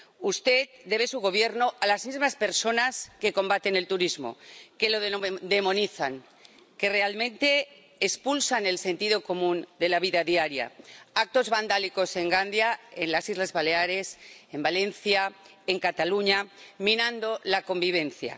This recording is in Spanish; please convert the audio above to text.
Usted debe su Gobierno a las mismas personas que combaten el turismo, que lo demonizan, que realmente expulsan el sentido común de la vida diaria con actos vandálicos en Gandia, en las Islas Baleares, en Valencia, en Cataluña— minando la convivencia.